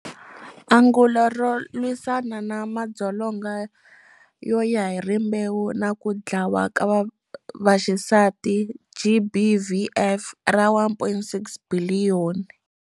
Angulo ro lwisana na madzolonga yo ya hi rimbewu na ku dlawa ka vaxisati, GBVF, ra R1.6 biliyoni.